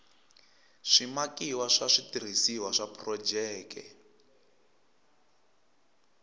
swimakiwa swa switirhisiwa swa phurojeke